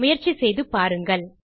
முயற்சி செய்து பாருங்கள்